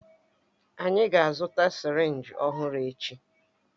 Anyị ga-azụta sirinji ọhụrụ echi.